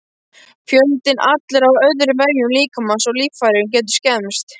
Fjöldinn allur af öðrum vefjum líkamans og líffærum getur skemmst.